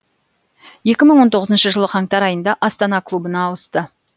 екі мың он тоғызыншы жылы қаңтар айында астана клубына ауысты